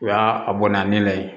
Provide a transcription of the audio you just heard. O y'a a bɔnna ne la yen